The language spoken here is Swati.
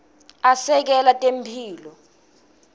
asekela temphilo